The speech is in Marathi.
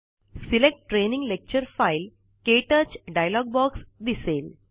select training lecture file -kTouch dialog box दिसेल